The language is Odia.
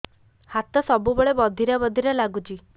ହାତ ସବୁବେଳେ ବଧିରା ବଧିରା ଲାଗୁଚି